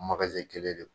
kelen de don